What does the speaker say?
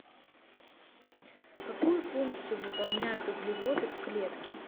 какую функцию выполняют углеводы в клетке